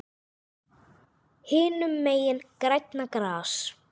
Hinum megin grænna gras.